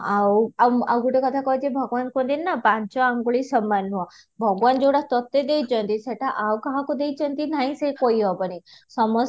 ଆଉ ଆଉ ଆଉ ଗୋଟେ କଥା କହିବି ଯେ ଭଗବାନ କୁହନ୍ତି ନି ନା ପାଞ୍ଚ ଆଙ୍ଗୁଳି ସମାନ ନୁହଁ, ଭଗବାନ ଯଉଟା ତୋତେ ଦେଇଛନ୍ତି ସେଇଟା ଆଉ କାହାକୁ ଦେଇଛନ୍ତି ନାହିଁ ସେ କହି ହେବନି ସମସ୍ତେ